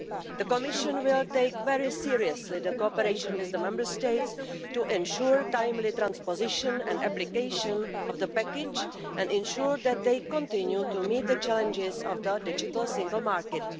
The Commission will take very seriously the cooperation with the Member States to ensure timely transposition and application of the package and ensure that they continue to meet the challenges of the digital single market.